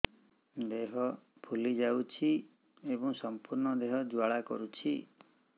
ଦେହ ଫୁଲି ଯାଉଛି ଏବଂ ସମ୍ପୂର୍ଣ୍ଣ ଦେହ ଜ୍ୱାଳା କରୁଛି